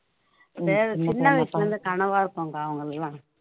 சின்ன வயசுல இருந்து கனவா இருக்கும்கா அவங்களுக்கு எல்லாம்